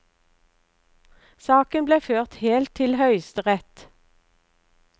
Saken ble ført helt til høyesterett.